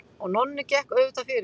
Og Nonni gekk auðvitað fyrir.